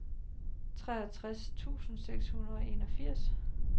treogtres tusind seks hundrede og enogfirs